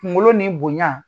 kunkolo ni bonya